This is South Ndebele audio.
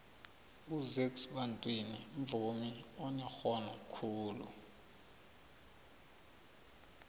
uzakes bantwini mvumi onerhono khulu